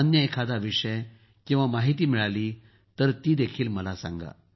अन्य एखादा विषय किंवा माहिती मिळाली तर मला ही सांगा